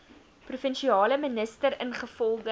provinsiale minister ingevolge